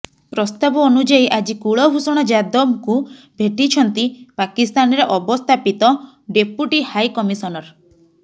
ପ୍ରସ୍ତାବ ଅନୁଯାୟୀ ଆଜି କୁଳଭୂଷଣ ଯାଦବଙ୍କୁ ଭେଟିଛନ୍ତି ପାକିସ୍ତାନରେ ଅବସ୍ଥାପିତ ଡେପୁଟି ହାଇକମିଶନର